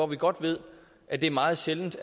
vi godt ved at det er meget sjældent